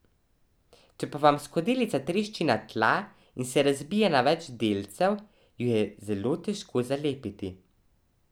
Če pa vam skodelica trešči na tla in se razbije na več delcev, jo je zelo težko zalepiti.